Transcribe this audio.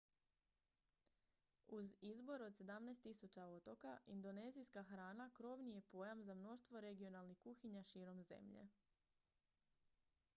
uz izbor od 17 000 otoka indonezijska hrana krovni je pojam za mnoštvo regionalnih kuhinja širom zemlje